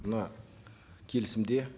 мына келісімде